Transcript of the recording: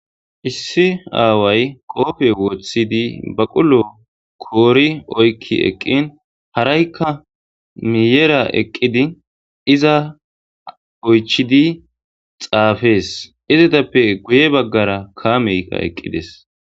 Issi aaway koope woththidi baqulo koori oykki eqqin haraykka miyera eqqidi iza oychidi xaafees izatappe guye baggara kaameyka eqqides.